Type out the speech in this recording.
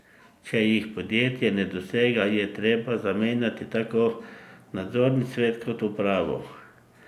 Če jih podjetje ne dosega, je treba zamenjati tako nadzorni svet kot upravo!